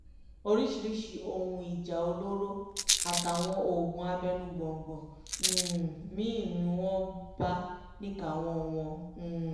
oríṣiríṣii ohun ìjà olóró àtàwọn oògùn abẹnugọ̀ńgọ̀ um mí-ín ni wọ́n bá níkàáwọ́ wọn um